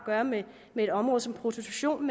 gøre med et område som prostitution